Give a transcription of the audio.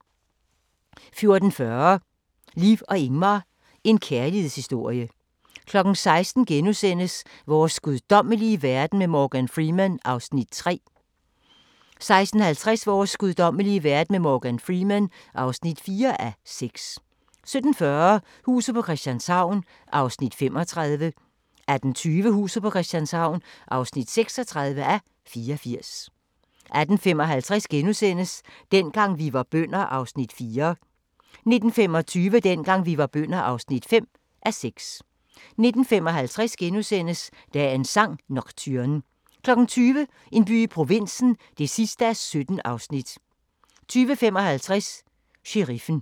14:40: Liv og Ingmar – en kærlighedshistorie 16:00: Vores guddommelige verden med Morgan Freeman (3:6)* 16:50: Vores guddommelige verden med Morgan Freeman (4:6) 17:40: Huset på Christianshavn (35:84) 18:20: Huset på Christianshavn (36:84) 18:55: Dengang vi var bønder (4:6)* 19:25: Dengang vi var bønder (5:6) 19:55: Dagens sang: Nocturne * 20:00: En by i provinsen (17:17) 20:55: Sheriffen